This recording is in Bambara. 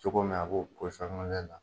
Cogo min a b'o la